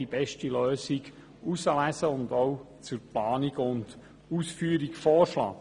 Die beste Lösung kann ausgewählt und zur Planung und Ausführung vorgeschlagen werden.